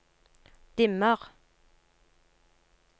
dimmer